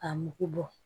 A mugu bɔ